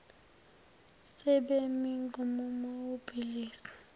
sebemi ngomumo ukubhidliza